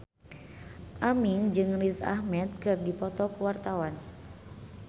Aming jeung Riz Ahmed keur dipoto ku wartawan